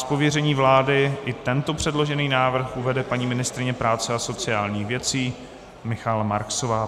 Z pověření vlády i tento předložený návrh uvede paní ministryně práce a sociálních věcí Michaela Marksová.